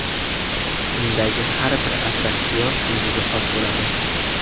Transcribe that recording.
Undagi har bir attraksion o‘ziga xos bo‘ladi.